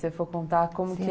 Se for contar, como que era?